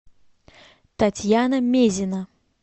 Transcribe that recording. татьяна мезина